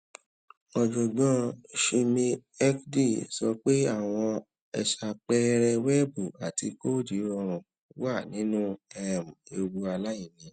ọjọgbọn chinmayhegde sọ pé àwọn aṣàpẹẹrẹ wẹẹbù àti kóòdù rọrùn wà nínú um ewu aláìní